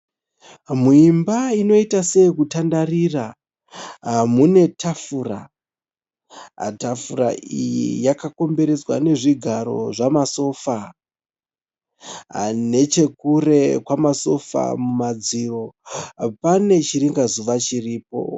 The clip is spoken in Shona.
Muimba inoita seyekutandarira mune tafura. Tafura iyi yakakomberedzwa ne zvigaro zvemasofa nechekure kwemasofa mumadziro pane chiringazuva chiripo.